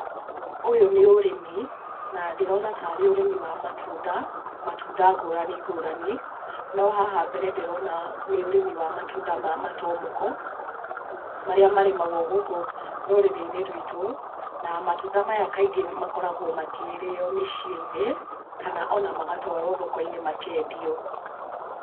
Ũyũ nĩ ũrĩmi, na ndĩrona tarĩ ũrĩmi wa matunda, matunda ngũrani ngũrani. No haha mbere ndĩrona nĩ ũrĩmi wa matunda ma matomoko, marĩa marĩmagwo gũkũ rũrĩrĩ-inĩ rwitũ, na matunda maya kaingĩ makoragwo makĩrĩo mĩciĩ-inĩ kana ona magatwarwo thoko-inĩ makendio.